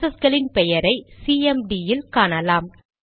process களின் பெயரை CMD ல் காணலாம்